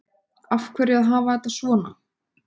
Af hverju að hafa þetta svona